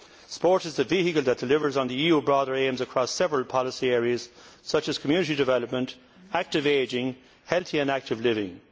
Sport is a vehicle that delivers on broader EU aims across several policy areas, such as Community development, active ageing and healthy and active living.